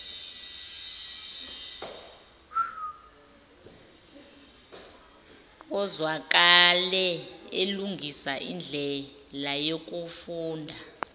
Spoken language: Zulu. ezwakale elungisa indlelayokufunda